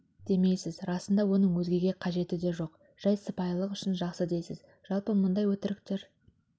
демейсіз расында оның өзгеге қажеті де жоқ жай сыпайылық үшін жақсы дейсіз жалпы мұндай өтіріктер